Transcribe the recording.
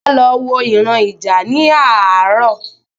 Sola lọ wọ ìran ija ni àárò